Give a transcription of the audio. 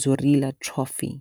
Dzurilla Trophy.